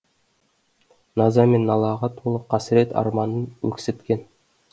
наза мен налаға толы қасірет арманын өксіткен